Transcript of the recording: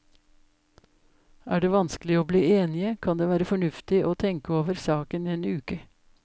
Er det vanskelig å bli enige, kan det være fornuftig å tenke over saken en uke.